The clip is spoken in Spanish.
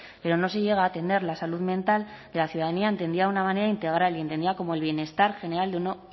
pero no se llega a atender la salud mental de la ciudadanía entendida de una manera integral y entendida como el bienestar general de un